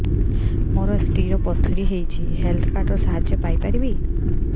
ମୋ ସ୍ତ୍ରୀ ର ପଥୁରୀ ହେଇଚି ହେଲ୍ଥ କାର୍ଡ ର ସାହାଯ୍ୟ ପାଇପାରିବି